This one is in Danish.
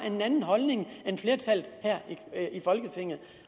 en anden holdning end flertallet her i folketinget